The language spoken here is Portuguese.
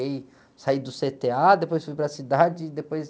saí do cê-tê-á, depois fui para a cidade e depois...